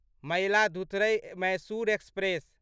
Mayiladuthurai Mysore express